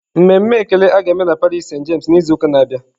Mmemme ekele a ga-eme na parish senti James n'izu na-abịa.